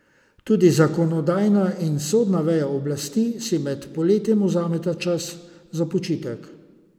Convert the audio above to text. Tudi zakonodajna in sodna veja oblasti si med poletjem vzameta čas za počitek.